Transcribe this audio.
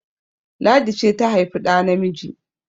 Ladi ce ta haifi ɗa namiji!